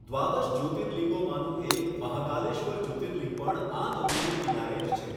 દ્વાદશ જ્યૉતિર્લિંગોમાંનું એક મહાકાલેશ્વર જ્યોતિર્લિંગ પણ આ નદીને કિનારે જ છે